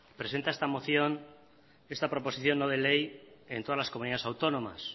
presenta esta moción esta proposición no de ley en todas las comunidades autónomas